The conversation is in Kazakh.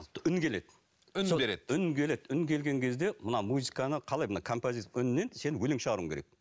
үн келеді үн береді үн келеді үн келген кезде мына музыканы қалай мына үнінен сен өлең шығаруың керек